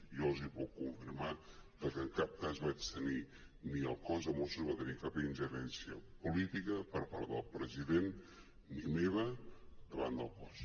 jo els puc confirmar que en cap cas vaig tenir ni el cos de mossos va tenir cap ingerència política per part del president ni meva davant del cos